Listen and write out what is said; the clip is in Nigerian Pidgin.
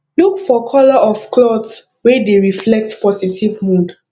look for color of cloth wey dey reflect positive mood